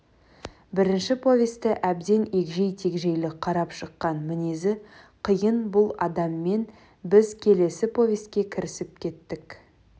бірінші повесті әбден егжей тегжейлі қарап шыққан мінезі қиын бұл адаммен біз келесі повестке кірісіп кеттік